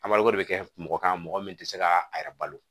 de bɛ kɛ mɔgɔ kan mɔgɔ min tɛ se ka a yɛrɛ balo